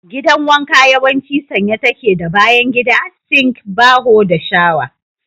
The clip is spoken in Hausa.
Gidan wanka yawanci sanye take da bayan gida, sink, baho, da shawa.